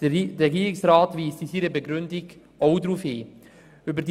Der Regierungsrat weist in seiner Begründung auch auf diesen Aspekt hin.